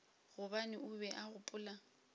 gobane o be a gopola